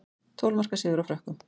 Tólf marka sigur á Frökkum